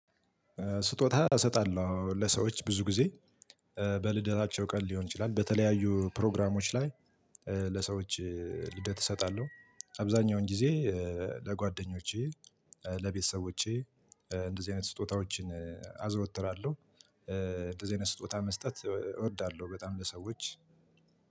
ስጦታ እሰጣለሁ ለሰዎች ብዙ ጊዜ በልደታቸው ቀን ሊሆን ይችላል በተለያዩ ፕሮግራሞች ላይ። ለሰዎች ልደት እሰጣለሁ አብዛኛውን ጊዜ ለጓደኞቼ ለቤተሰቦቼ እንደዚህ አይነት ስጦታዎችን አዘወትራለሁ። እንደዚህ አይነት ስጦታ መስጠት እወ እወዳለሁ ለሰዎች።